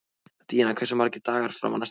Díanna, hversu margir dagar fram að næsta fríi?